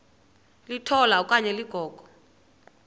litola okanye ligogo